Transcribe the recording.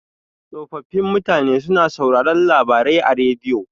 Tsofaffin mutane suna sauraron labarai a rediyo.